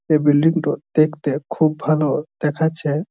এই বিল্ডিং -টা দেখতে খুব ভালো দেখাচ্ছে-এ।